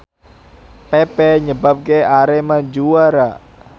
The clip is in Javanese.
pepe nyebabke Arema juara